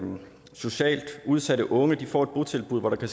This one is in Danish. socialt udsatte unge får et botilbud hvor der